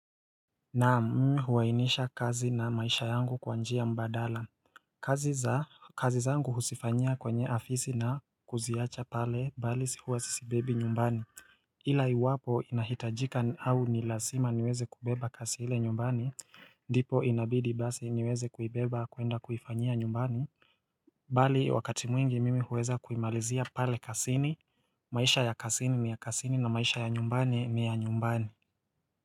Na mmi huwainisha kazi na maisha yangu kwa njia mbadala kazi za kazi zangu husifanya kwenye afisi na kuziacha pale bali sihua sisi bebi nyumbani ila iwapo inahitajika au nilasima niweze kubeba kasi hile nyumbani ndipo inabidi basi niweze kubeba kuenda kufanya nyumbani Bali wakati mwingi mimi huweza kuimalizia pale kasini maisha ya kasini ni ya kasini na maisha ya nyumbani ni ya nyumbani.